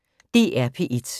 DR P1